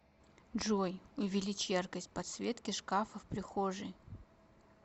джой увеличь яркость подсветки шкафа в прихожей